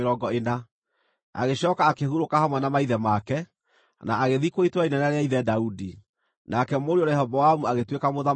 Agĩcooka akĩhurũka hamwe na maithe make, na agĩthikwo itũũra inene rĩa ithe Daudi. Nake mũriũ Rehoboamu agĩtuĩka mũthamaki ithenya rĩake.